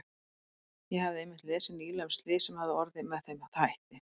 Ég hafði einmitt lesið nýlega um slys sem hafði orðið með þeim hætti.